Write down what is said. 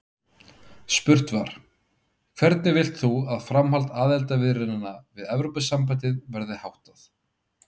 Spurt var: Hvernig vilt þú að framhaldi aðildarviðræðna við Evrópusambandið verði háttað?